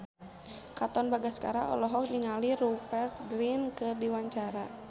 Katon Bagaskara olohok ningali Rupert Grin keur diwawancara